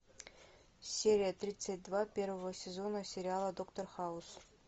серия тридцать два первого сезона сериала доктор хаус